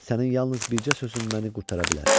Sənin yalnız bircə sözün məni qurtara bilər.